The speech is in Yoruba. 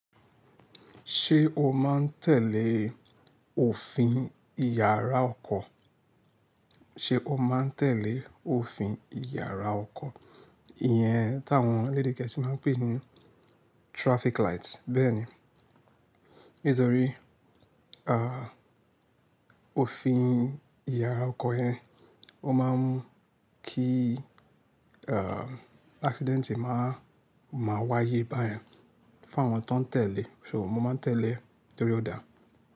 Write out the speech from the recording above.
Ṣé o máa ń tẹ̀lé òfin ìyára ọkọ̀? Ṣé o máa ń tẹ̀lé òfin ìyára ọkọ̀? Iyẹn táwọn lédígẹ́ṣì máa ń pè ní traffic light. Bẹ́ẹ̀ni, nítorí à, òfin ìyára ọkọ̀ ẹ, ó máa ń kí à, accident máa, máa wáyé báyẹn, fáwọn tó ń tẹ̀lé. So mo máa ń tẹ̀lé, torí ó dáa.